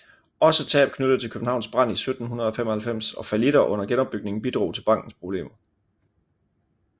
Også tab knyttet til Københavns brand i 1795 og fallitter under genopbygningen bidrog til bankens problemer